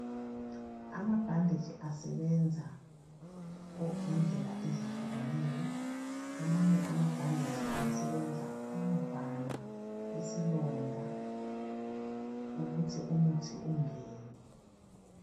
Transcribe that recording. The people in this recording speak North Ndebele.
amabhandetshi asebenza ngendlela ezihlukeneyo amanye amabhadetshi asebenza ukuvala isilonda ukuthi umuthi ungene